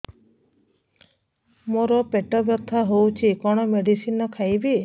ମୋର ପେଟ ବ୍ୟଥା ହଉଚି କଣ ମେଡିସିନ ଖାଇବି